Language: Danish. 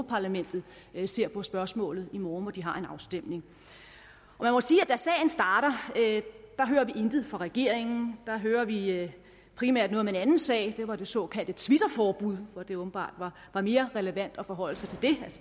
parlamentet ser på spørgsmålet i morgen hvor de har en afstemning jeg må sige at da sagen starter hører vi intet fra regeringen der hører vi primært noget om en anden sag det var det såkaldte twitterforbud hvor det åbenbart var mere relevant at forholde sig til